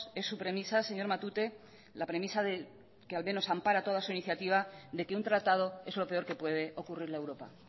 es su premisa señor matute la premisa que al menos ampara su iniciativa de que un tratado es lo peor que puede ocurrirle a europa